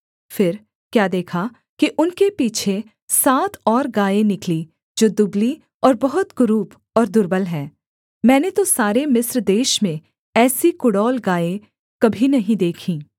फिर क्या देखा कि उनके पीछे सात और गायें निकली जो दुबली और बहुत कुरूप और दुर्बल हैं मैंने तो सारे मिस्र देश में ऐसी कुडौल गायें कभी नहीं देखीं